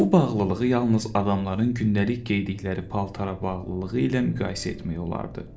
Bu bağlılığı yalnız adamların gündəlik geyindikləri paltara bağlılığı ilə müqayisə etmək olardı.